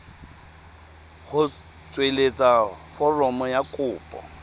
go tsweletsa foromo ya kopo